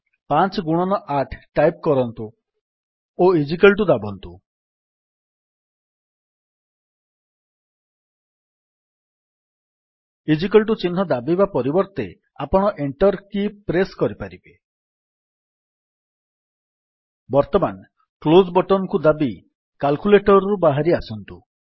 5ଗୁଣନ8 type କରନ୍ତୁ ଓ ଦାବନ୍ତୁ ଚିହ୍ନକୁ ଦାବିବା ପରିବର୍ତ୍ତେ ଆପଣ ଏଣ୍ଟର୍ କି ପ୍ରେସ୍ କରିପାରିବେ ବର୍ତ୍ତମାନ କ୍ଲୋଜ୍ ବଟନ୍ କୁ ଦାବି କାଲ୍କୁଲେଟର୍ ରୁ ବାହାରି ଆସନ୍ତୁ